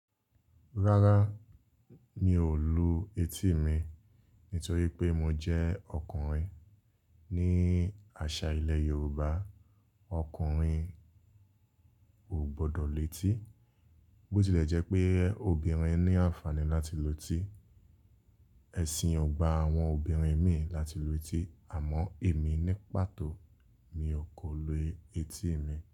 Rárá, mi ò lu etí mi nítorí pé mo jẹ́ ọkùnrin. Ni àṣà ilẹ̀ Yorùbá, ọkùnrin ò gbọdọ̀ lu étí. Bó tilẹ̀ jẹ́ pé obìnrin ní àǹfàní láti lu etí, ẹ̀ṣin ò gba àwọn obìnrin mì láti lu etí àmọ́ èmi ní pàtó mi ò kò lu etí mi.